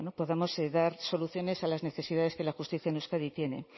podamos dar soluciones a las necesidades que la justicia en euskadi tiene